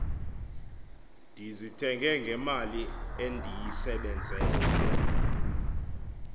ndizithenge ngemali endiyisebenzele